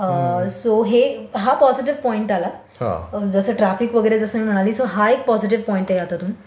अ so हे हा positive point आला जसं ट्राफिक वगैरे मी म्हणाली सो हा एक पॉजिटिव पॉइंट आहे यातून